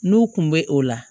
N'u kun bɛ o la